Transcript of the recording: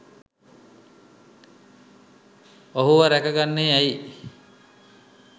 ඔහුව රැක ගන්නේ ඇයි?